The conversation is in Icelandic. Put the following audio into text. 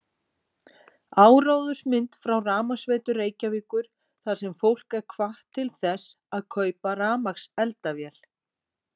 Áróðursmynd frá Rafmagnsveitu Reykjavíkur þar sem fólk er hvatt til þess að kaupa rafmagnseldavél